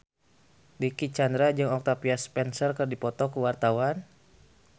Dicky Chandra jeung Octavia Spencer keur dipoto ku wartawan